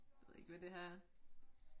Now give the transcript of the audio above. Jeg ved ikke hvad det her er